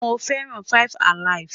Mo feran 5 alive